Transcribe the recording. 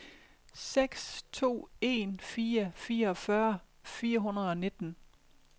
seks to en fire fireogfyrre fire hundrede og nitten